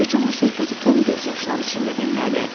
Bütün bu söhbəti Tom göz yaşları içində dinlədi.